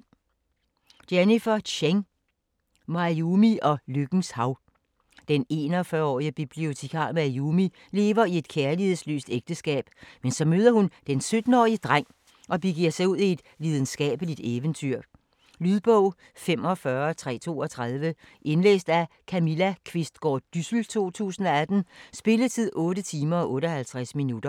Tseng, Jennifer: Mayumi og lykkens hav Den 41-årig bibliotekar, Mayumi, lever i et kærlighedsløst ægteskab, men så møder hun den 17-årige dreng og begiver sig ud i et lidenskabeligt eventyr. Lydbog 45332 Indlæst af Camilla Qvistgaard Dyssel, 2018. Spilletid: 8 timer, 58 minutter.